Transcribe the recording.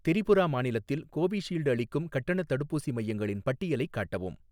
திரிபுரா மாநிலத்தில் கோவிஷீல்டு அளிக்கும் கட்டணத் தடுப்பூசி மையங்களின் பட்டியலைக் காட்டவும்.